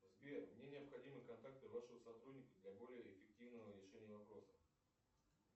сбер мне необходимы контакты вашего сотрудника для более эффективного решения вопроса